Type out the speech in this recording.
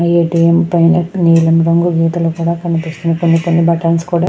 ATM రంగు నిలం colour లో కనిపిస్తుంది. కొని కొని బటన్స్ కూడా--